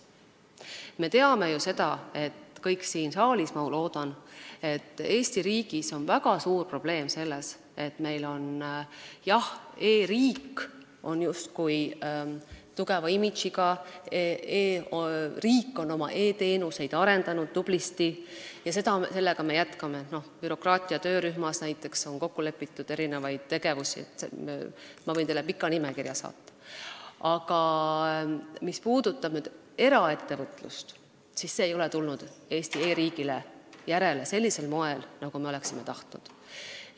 Me teame ju seda – kõik siin saalis teavad, ma loodan –, et Eesti riigis on väga suur probleem sellega, et meil on justkui tugeva imagoga e-riik, riik on oma e-teenuseid tublisti arendanud, seda me jätkame, bürokraatia töörühmas on näiteks kokku lepitud mitmeid tegevusi, ma võin teile pika nimekirja saata, aga eraettevõtlus ei ole tulnud Eesti e-riigile järele sellisel moel, nagu me oleksime tahtnud.